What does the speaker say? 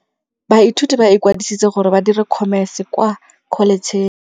Baithuti ba ikwadisitse gore ba dire Khomese kwa Kholetšheng.